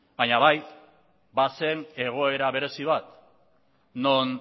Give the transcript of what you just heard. baina bai bazen egoera berezi bat non